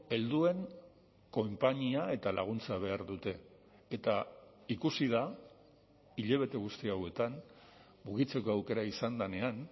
helduen konpainia eta laguntza behar dute eta ikusi da hilabete guzti hauetan mugitzeko aukera izan denean